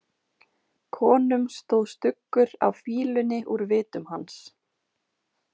Konum stóð stuggur af fýlunni úr vitum hans.